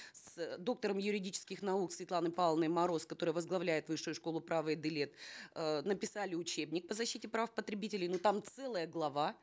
с доктором юридических наук светланой павловной мороз которая возглавляет высшую школу права әділет э написали учебник по защите прав потребителей но там целая глава